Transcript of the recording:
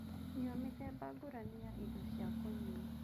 Nyua mĩthemba ngũrani ya indo cia kũnyua